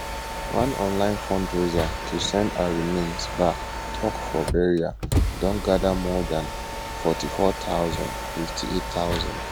one online fundraiser to send her remains back touk for burial don gadamore dan 44000 58000